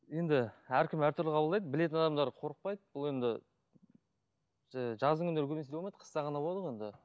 енді әркім әртүрлі қабылдайды білетін адамдар қорықпайды бұл енді жаздың күндері көбінесе үйде болмайды қыста ғана болады ғой енді